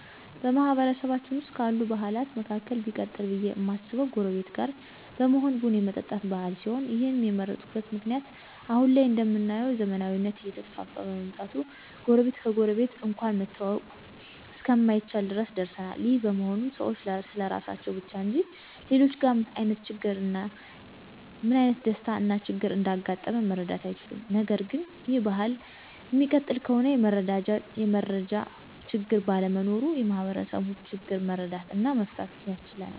በማህበረሰባችን ዉስጥ ካሉት ባህላት መካከል ቢቀጥል ብዬ እማስበው ጎረቤት ጋር በመሆን ቡን የመጠጣት ባህል ሲሆን ይህንም የመረጥኩበት ምክንያት አሁን ላይ እንደምናየው ዘመናዊነት እየተስፋፋ በመምጣቱ ጎረቤት ከጎረቤት እንኳን መተዋወቅ እስከማይቻል ድረስ ደርሰናል። ይህ በመሆኑም ሰዎች ስለራሳቸው ብቻ እንጂ ሌሎችጋ ምን አይነት ደስታ እና ችግር እንዳጋጣመ መረዳት አይችሉም። ነገርግን ይህ ባህል እሚቀጥል ከሆነ የመረጃ ችግር ባለመኖሩ የማህበረሰቡን ችግር መረዳት እና መፍታት ያስችለናል።